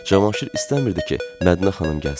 Cavanşir istəmirdi ki, Mədinə xanım gəlsin.